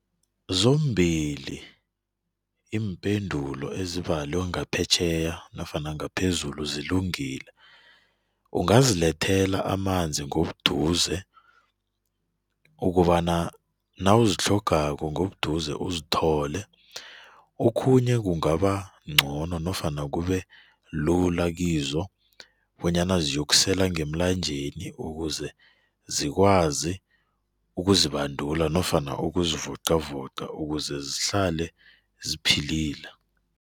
Zombili iimpendulo ezibalwe ngaphetjheya nofana ngaphezulu zilungile, ungazilethela amanzi ngobuduze ukobana nawuzitlhogako ngobuduze uzithole, okhunye kungabancono nofana kubelula kizo bonyana ziyokusela ngemlanjeni ukuze zikwazi ukuzibandula nofana ukuzivoqavoqa ukuze zihlale ziphilile.